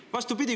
Vastupidi!